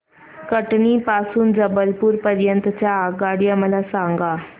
कटनी पासून ते जबलपूर पर्यंत च्या आगगाड्या मला सांगा